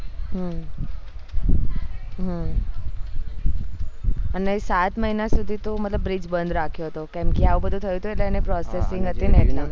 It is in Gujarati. હ હ અને સાત મહિના સુધી તો મતલબ bridge બંધ રાખ્યું હતું કેમ કે આવું બધું થયું હતું એટલે એને processing હતીને એટલે